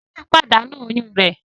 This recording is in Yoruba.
Témì pàdánù oyún rẹ̀